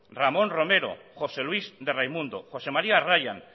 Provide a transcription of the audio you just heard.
ramón romero josé luis de raimundo josé maría ryan